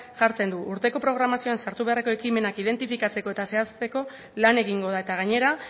jartzen du urteko programazioan sartu beharreko ekimenak identifikatzeko eta zehazteko lan egingo da eta gainera